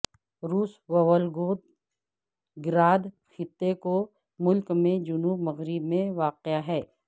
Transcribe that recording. روس وولگوگراد خطے کو ملک کے جنوب مغرب میں واقع ہے